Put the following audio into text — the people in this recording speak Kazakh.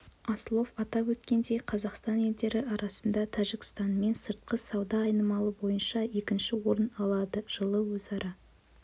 аслов атап өткендей қазақстан елдері арасында тәжікстанмен сыртқы сауда айналымы бойынша екінші орын алады жылы өзара